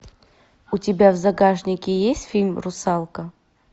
у тебя в загашнике есть фильм русалка